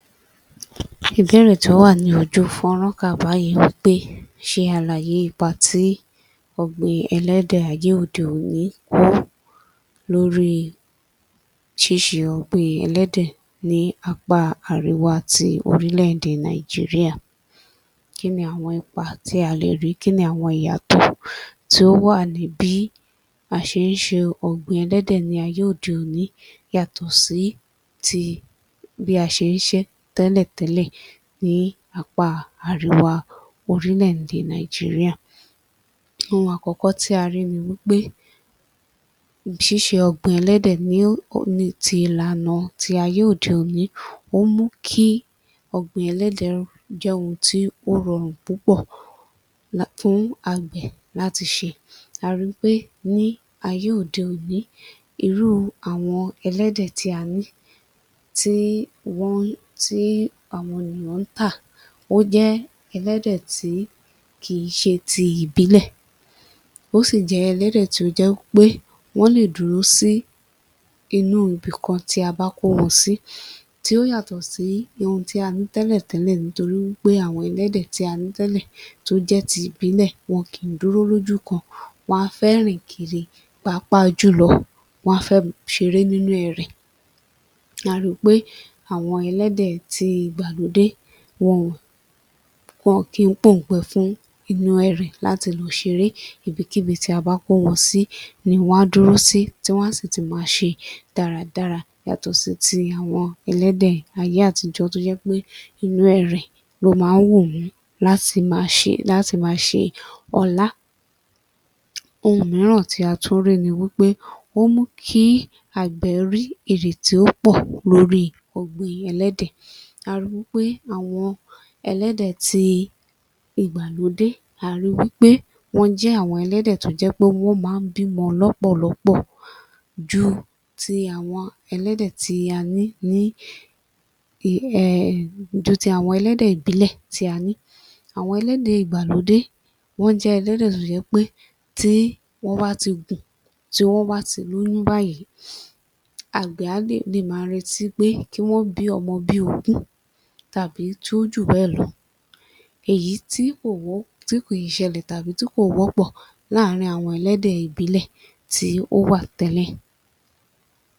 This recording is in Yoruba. Ìbéèrè tó wà ní ojú fọ́nrán kà báyìí wí pé ṣe àlàyé ipa tí ọ̀gbìn ẹlẹ́dẹ̀ ayé òde-òní kó lórí ṣíṣe ọ̀gbìn ẹlẹ́dẹ̀ ní apá àríwá ti orílẹ̀-èdè Nàìjíríà Kí ni àwọn ipa tí a lè rí, kí ni àwọn ìyàtọ̀ tí ó wà ní bí a ṣe ń ṣe ọ̀gbìn ẹlẹ́dẹ̀ ní ayé òde-òní yàtọ̀ sí ti bí a ṣe ń ṣe é tẹ́lẹ̀tẹ́lẹ̀ ní apá Àríwá orílẹ̀-èdè Nàìjíríà? Ohun àkọ́kọ́ tí a rí ni wí pé ṣíṣe ọ̀gbìn ẹlẹ́dẹ̀ [ní ó] ní ti ìlànà ti ayé òde-òní, ó mú kí ọ̀gbìn ẹlẹ́dẹ̀ jẹ́ ohun tí ó rọrùn púpọ̀ fún àgbẹ̀ láti ṣe. A ri wí pé ní ayé òde-òní, irú àwọn ẹlẹ́dẹ̀ tí a ní [tí wọ́n…?] ti àwọn èèyàn ń tà, ó jẹ́ ẹlẹ́dẹ̀ tí kì í ṣe ti ìbílẹ̀ ó sì jẹ́ ẹlẹ́dẹ̀ tí ó jẹ́ wí pé wọ́n lè dúró sí inú ibìkan tí a bá kó wọn sí tí ó yàtọ̀ sí ohun tí a ní tẹ́lẹ̀tẹ́lẹ̀ nítorí wí pé àwọn ẹlẹ́dẹ̀ tí a ní tẹ́lẹ̀ tó jẹ́ ti ìbílẹ̀, wọn kì í dúró lójú kan. Wọn á fẹ́ rìn kiri. Pàápàá jùlọ wọ́n á fẹ́ ṣeré nínú ẹrẹ̀. A ri pé àwọn ẹlẹ́dẹ̀ ti ìgbàlódé, [wọn ò] wọn ò kí ń pòǹgbẹ fún inú ẹrẹ̀ láti lọ ṣere. Ibikíbi tí abá kó wọn sí ni wọ́n á dúró sí tí wọn á sì ti máa ṣe dáradára yàtọ̀ sí ti àwọn ẹlẹ́dẹ̀ ayé àtijọ́ tó jẹ́ pé inú ẹrẹ̀ ló máa ń wù wọ́n [láti máa ṣe] láti máa ṣe ọlá. Ohun mìíràn tí a tún rí ni wí pé, ó mú kí àgbẹ̀ rí èrè tí ó pọ̀ lórí ọ̀gbìn ẹlẹ́dẹ̀. A ri wí pé àwọn ẹlẹ́dẹ̀ ti ìgbàlódé a ri wí pé wọ́n jẹ́ àwọn ẹlẹ́dẹ̀ tó jẹ́ pé wọ́n máa ń bímọ lọ́pọ̀lọ́pọ̀ ju ti àwọn ẹlẹ́dẹ̀ tí a ní ní um ju ti àwọn ẹlẹ́dẹ̀ ìbílẹ̀ tí a ní. Àwọn ẹlẹ́dẹ̀ ìgbàlódé wọ́n jẹ́ ẹlẹ́dẹ̀ tó ṣe pé tí wọ́n bá ti gùn, tí wọ́n bá ti lóyún báyẹn, àgbẹ̀ á máa retí pé kí wọ́n bí ọmọ bí ogún tàbí tó ju bẹ́ẹ̀ lọ èyí [tí kò wo…?] tí kì í ṣẹlẹ̀ tàbí tí kò wọ́pọ̀ láàrin àwọn ẹlẹ́dẹ̀ ìbílẹ̀ tí ó wà tẹ́lẹ̀.